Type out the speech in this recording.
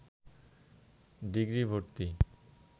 degree ভর্তি